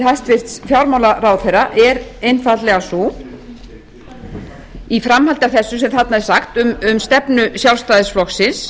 hæstvirts fjármálaráðherra er einfaldlega sú í framhaldi af þessu sem þarna er sagt um stefnu sjálfstæðisflokksins